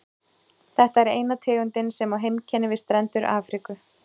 Þetta er eina tegundin sem á heimkynni við strendur Afríku.